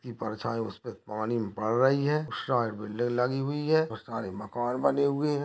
ये परछाई उसपे पानी मे पड़ रही है उस साइड बिल्डिंग लगी हुई है और सारे मकान बने हुए है।